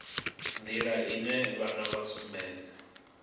nḓila ine vhana vha sumbedza